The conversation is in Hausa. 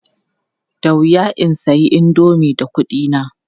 Da wuya in sayi indomi da kuɗina.